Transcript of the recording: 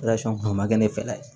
kun ma kɛ ne fɛla ye